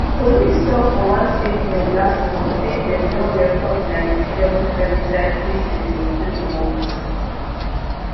police tok for one statement last month say dem don record 97 femicide cases in three months.